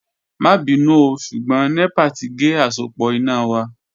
Ma binu ooo ṣugbọn nepa ti ge asopọ ina wa